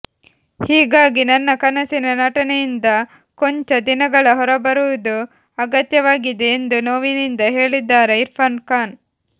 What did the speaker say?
ಹೀಗಾಗಿ ನನ್ನ ಕನಸಿನ ನಟನೆಯಿಂದ ಕೊಂಚ ದಿನಗಳ ಹೊರಬರುವುದು ಅಗತ್ಯವಾಗಿದೆ ಎಂದು ನೋವಿನಿಂದ ಹೇಳಿದ್ದಾರೆ ಇರ್ಫಾನ್ ಖಾನ್